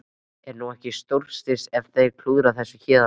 En er ekki stórslys ef þeir klúðra þessu héðan af?